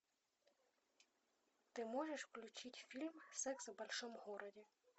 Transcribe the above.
ты можешь включить фильм секс в большом городе